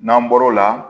N'an bɔr'o la